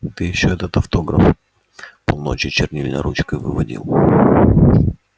ты ещё этот автограф полночи чернильной ручкой выводил